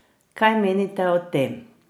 Kaj menite o tem?